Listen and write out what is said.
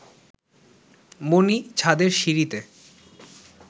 মণি ছাদের সিঁড়িতে